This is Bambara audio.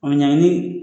O ɲaŋini